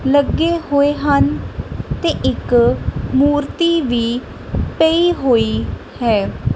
ਲੱਗੇ ਹੋਏ ਹਨ ਤੇ ਇੱਕ ਮੂਰਤੀ ਵੀ ਪਈ ਹੋਈ ਹੈ।